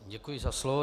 Děkuji za slovo.